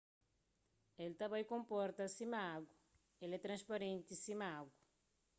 el ta bai konporta sima agu el é transparenti sima agu